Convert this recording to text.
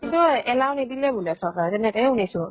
কিন্তু allow নিদিল বুলে চৰকাৰে তেনেকেহে শুনিছো।